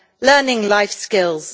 learning life skills.